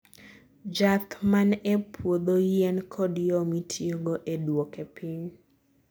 jaath man e puodhoyien kod yo mitiyo go e duoke piny